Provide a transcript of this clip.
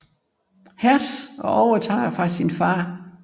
Hertz og overtager fra sin far